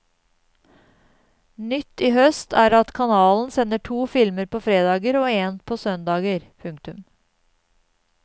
Nytt i høst er at kanalen sender to filmer på fredager og én på søndager. punktum